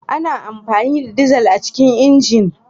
Ana amfani da dizal a cikin injin.